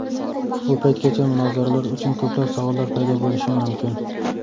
Bu paytgacha munozaralar uchun ko‘plab savollar paydo bo‘lishi mumkin.